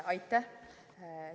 Aitäh!